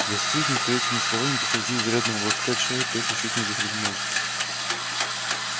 застигнутый этими словами посреди изрядного глотка чая перси чуть не захлебнулся